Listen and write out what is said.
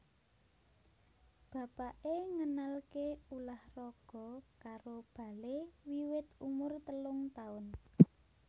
Bapakè ngenalkè ulah raga karo Bale wiwit umur telung taun